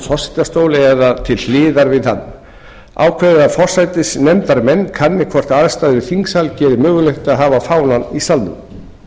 forsetastóli eða til hliðar við hann ákveðið að forsætisnefndarmenn kanni hvort aðstæður í þingsal geri mögulegt að hafa fánann í salnum